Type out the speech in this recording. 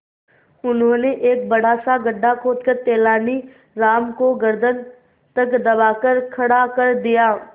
उन्होंने एक बड़ा सा गड्ढा खोदकर तेलानी राम को गर्दन तक दबाकर खड़ा कर दिया